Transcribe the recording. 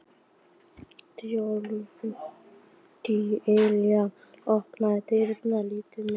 Dilja, opnaðu dagatalið mitt.